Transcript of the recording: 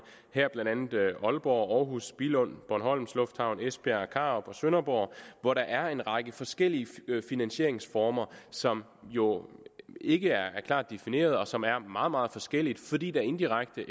blandt andet aalborg århus billund bornholms lufthavn esbjerg karup og sønderborg hvor der er en række forskellige finansieringsformer som jo ikke er klart defineret og som er meget meget forskellige fordi der indirekte